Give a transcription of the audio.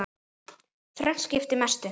Þrennt skipti mestu.